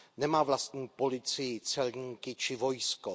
Nemá vlastní policii, celníky či vojsko.